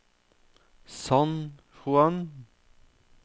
San Juan